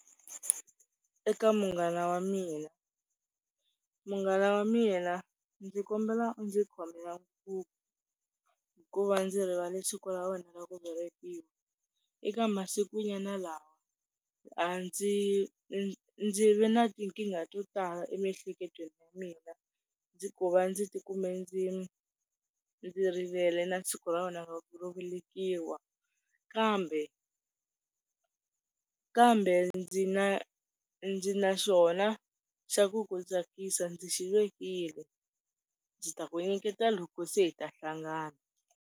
Eka munghana wa mina, munghana wa mina ndzi kombela u ndzi khomela ku va ndzi rivale siku ra wena ro velekiwa, eka masikunyana lawa a ndzi ndzi ve na tinkingha to tala emiehleketweni ya mina, ndzi ku va ndzi tikume ndzi ndzi rivele na siku ra wena ro velekiwa, kambe kambe ndzi na ndzi na xona xa ku ku tsakisa ndzi xivekile ndzi ta ku nyiketa loko se hi ta hlangana.